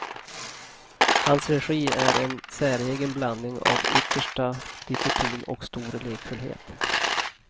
Hans regi är en säregen blandning av yttersta disciplin och stor lekfullhet.